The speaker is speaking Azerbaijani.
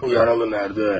Yaralı hardadır?